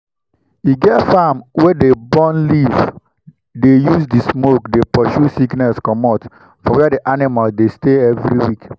e get farm wey dey burn leave dey use the smoke dey pursue sickness comot for where the animals dey stay every week